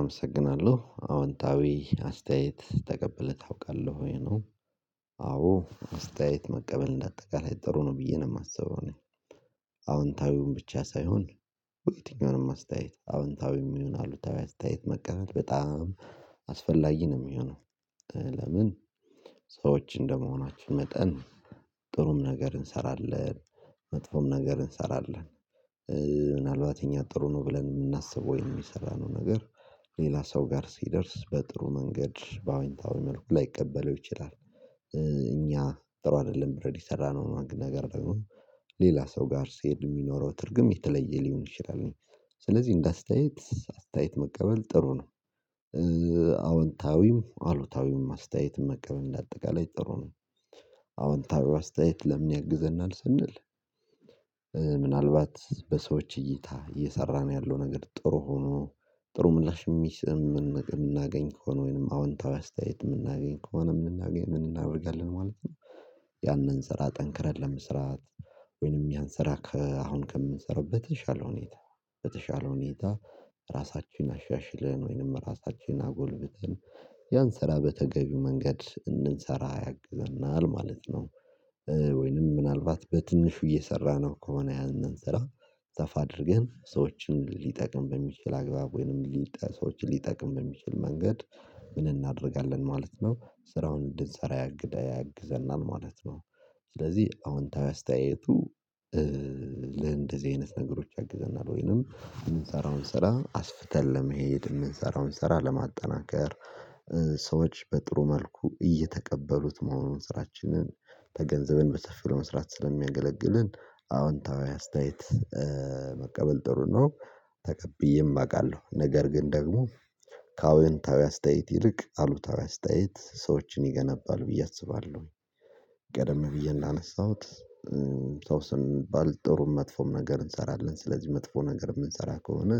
አመሰግናለሁ አወንታዊ አስተያየት ተቀብለህ ታውቃለህ ወይ ነው? አዎ አስተያየት መቀበል እንደ አጠቃላይ ጥሩ ነው ብዬ ነው የማስበው። እኔ አዎንታዊውን ብቻ ሳይሆን ወደ የትኛውንም አስተያየት አዎንታዊውም ይሆን አሉታዊ አስተያየት መቀበል በጣም አስፈላጊ ነው የሚሆነው። ለምን ሰዎች እንደመሆናችን መጠን ጥሩም ነገር እንሰራለን መጥፎም ነገር እንሰራለን። ምናልባት እኛ ጥሩ ነው ብለን የምናስበው ወይም የሰራነው ነገር ሌላ ሰው ጋር ሲደርስ በጥሩ መንገድ በአወንታዊ መልኩ ላይቀበለው ይችላል። እኛ ጥሩ አይደለም ብለን የሰራነው አንድ ነገር ደግሞ ሌላ ሰው ጋር ሲሄድ የሚኖረው ትርጉም የተለየ ሊሆን ይችላል። ስለዚህ እንደ አስተያየት አስተያየት መቀበል ጥሩ ነው። አዎንታዊም አሉታዊም አስተያየት መቀበል እንደ አጠቃላይ ጥሩ ነው። አወንታዊው አስተያየት ለምን ያግዘናል ስንል ምናልባት በሰዎች እይታ እየሰራን ያለው ነገር ጥሩ ሆኖ ጥሩ ምላሽ የሚሰ የምናገኝ ከሆነ ወይንም አዎንታዊ አስተያየት የምናገኝ ከሆነ ምን እናደርጋለን ማለት ነው? ያንን ስራ ጠንክረን ለመስራት ወይንም ያን ስራ አሁን ከምንሰራው በተሻለ ሁኔታ በተሻለ ሁኔታ ራሳችን አሻሽለን ወይንም ራሳችን አጎልብተን ያን ስራ በተገቢው መንገድ እንድንሰራ ያግዘናል ማለት ነው። ወይንም ምናልባት በትንሹ እየሰራነው ከሆነ ያንን ስራ ሰፋ አድርገን ሰዎችን ሊጠቅም በሚችል አግባብ ወይንም ሊጠ ሰዎችን ሊጠቅም በሚችል መንገድ ምን እናደርጋለን ማለት ነው ስራውን እንድንሰራ ያግዘናል ማለት ነው። ስለዚህ አዎንታዊ አስተያየቱ ለእንደዚህ አይነት ነገሮች ያግዘናል ወይንም የምንሰራውን ስራ አስፍተን ለመሄድ የምንሰራውን ስራ ለማጠናከር ሰዎች በጥሩ መልኩ እየተቀበሉት መሆኑን ስራችንን ተገንዘብን በሰፊው ለመስራት ስለሚያገለግልን አዎንታዊ አስተያየት መቀበል ጥሩ ነው። ተቀብዬም አውቃለሁ ነገር ግን ደግሞ ከአወንታዊ አስተያየት ይልቅ አሉታዊ አስተያየት ሰዎችን ይገነባል ብዬ አስባለሁ። ቀደም ብዬ እንዳነሳሁት ሰው ስንባል ጥሩም መጥፎም ነገር እንሰራለን ስለዚህ መጥፎ ነገር የምንሰራ ከሆነ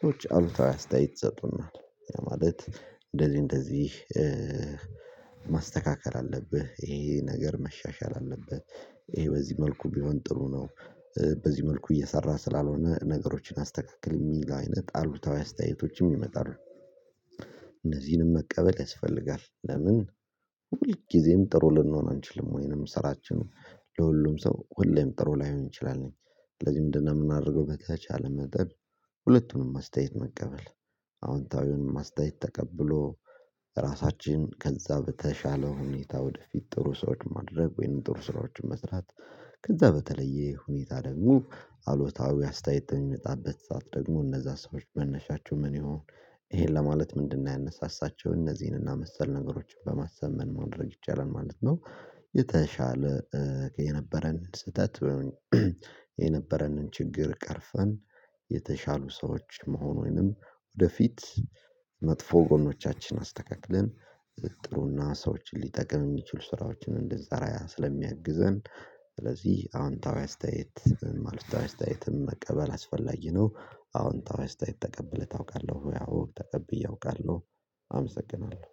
ሰዎች አሉታዊ አስተያየት ይሰጡናል ያ ማለት እንደዚህ እንደዚህ ማስተካከል አለብህ ይሄ ይሄ ነገር መሻሻል አለበት። ይሄ በዚህ መልኩ ቢሆን ጥሩ ነው። በዚህ መልኩ እየሰራህ ስላልሆነ ነገሮችን አስተካክል የሚል አይነት አሉታዊ አስተያየቶችም ይመጣሉ። እነዚህንም መቀበል ያስፈልጋል ለምን ሁል ጊዜም ጥሩ ልንሆን አንችልም ወይንም ስራችንን ለሁሉም ሰው ሁሌም ጥሩ ላይሆን ይችላል። ስለዚህ ምንድነው የምናደርገው በተቻለ መጠን ሁለቱንም አስተያየት መቀበል አዎንታዊውንም አስተያየት ተቀብሎ ራሳችን ከዛ በተሻለ ሁኔታ ወደፊት ጥሩ ሰዎች ማድረግ ወይንም ጥሩ ስራዎችን መስራት ከዛ በተለየ ሁኔታ ደግሞ አሉታዊ አስተያየት በሚመጣበት ሰዓት ደግሞ እነዛ ሰዎች መነሻቸው ምን ይሁን? ይሄን ለማለት ምንድነው ያነሳሳቸው እነዚህን እና መሰል ነገሮችን በማሰብ ምን ማድረግ ይቻላል ማለት ነው? የተሻለ የነበረን ስህተት የነበረንን ችግር ቀርፈን የተሻሉ ሰዎች መሆኑንም ወደፊት መጥፎ ጎኖቻችን አስተካክልን ጥሩ እና ሰዎችን ሊጠቅም የሚችል ስራዎችን እንድንሰራ ስለሚያግዘን ስለዚህ አዎንታዊ አስተያየት ማለት አስተያየትም መቀበል አስፈላጊ ነው። አዎንታዊ አስተያየት ተቀብለህ ታውቃለሁ ወይ? አዎ ተቀብዬ አውቃለሁ። አመሰግናለሁ